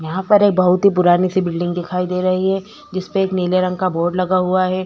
यहाँ पर ये बहोत ही पुरानी सी बिल्डिंग दिखाई दे रही है जिसमे एक नीले रंग का बोर्ड लगा हुआ है।